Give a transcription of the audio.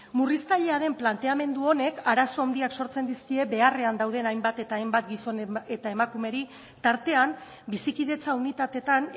murriztailea den planteamendu honek arazo handiak sortzen dizkie beharrean dauden hainbat eta hainbat gizon eta emakumeri tartean bizikidetza unitateetan